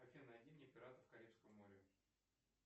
афина найди мне пиратов карибского моря